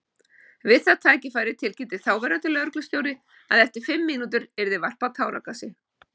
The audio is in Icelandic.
Við það tækifæri tilkynnti þáverandi lögreglustjóri að eftir fimm mínútur yrði varpað táragasi.